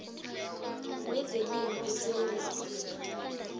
wezelimo esewula afrika